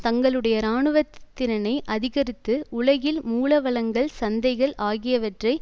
தங்களுடைய இராணுவத்திறனை அதிகரித்து உலகில் மூலவளங்கள் சந்தைகள் ஆகியவற்றை